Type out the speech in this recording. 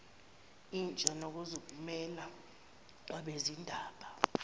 intsha nokuzimela kwabezindaba